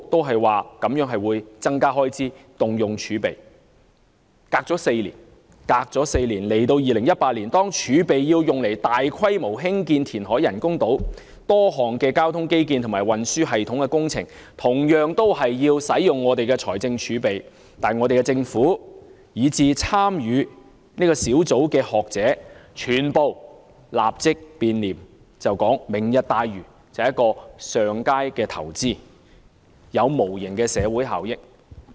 事隔4年，在現今2018年，當政府表示要動用財政儲備來進行大規模填海以興建人工島，涉及多項交通基建和運輸系統工程等，同樣會消耗財政儲備，但香港政府，以至參與小組的學者，全部立即變臉，改口指"明日大嶼"是上佳的投資，有無形的社會效益。